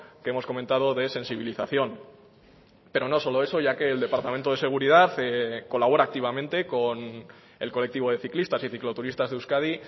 que hemos comentado de sensibilización pero no solo eso ya que el departamento de seguridad colabora activamente con el colectivo de ciclistas y cicloturistas de euskadi